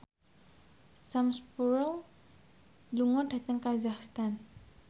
Sam Spruell lunga dhateng kazakhstan